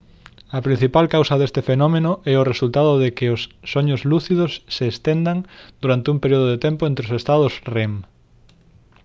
a principal causa deste fenómeno é o resultado de que os soños lúcidos se estendan durante un período de tempo entre os estados rem